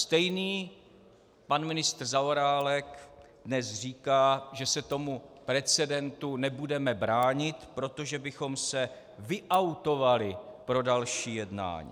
Stejný pan ministr Zaorálek dnes říká, že se tomu precedentu nebudeme bránit, protože bychom se vyautovali pro další jednání.